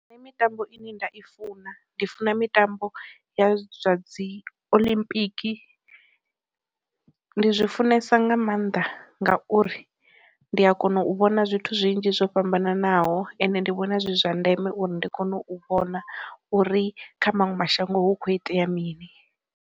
Mitambo ine nda i funa, ndi funa mitambo ya zwa dzi olimpiki, ndi zwi funesa nga maanḓa ngauri ndi a kona u vhona zwithu zwinzhi zwo fhambananaho ende ndi vhona zwi zwa ndeme uri ndi kone u vhona uri kha maṅwe mashango hu kho itea mini.